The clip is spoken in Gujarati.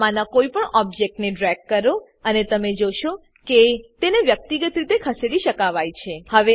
આમાંનાં કોઈપણ ઓબજેક્ટને ડ્રેગ કરો અને તમે જોશો કે તેને વ્યક્તિગત રીતે ખસેડી શકાવાય છે